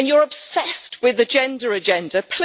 And you are obsessed with the gender agenda.